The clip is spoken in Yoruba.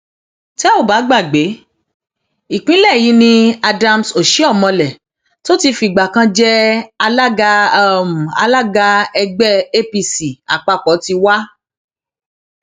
tẹ ò bá gbàgbé ìpínlẹ yìí ni adams osihomhole tó ti fìgbà kan jẹ alága alága ẹgbẹ apc àpapọ ti wá